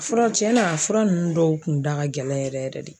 Fura cɛn na fura ninnu dɔw tun da ka gɛlɛn yɛrɛ yɛrɛ de.